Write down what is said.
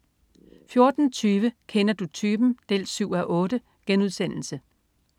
14.20 Kender du typen? 7:8*